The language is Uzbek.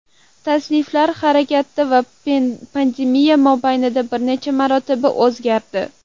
Tasniflar harakatda va pandemiya mobaynida bir necha marotaba o‘zgardi.